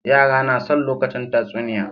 Yara nason lokacin tatsuniya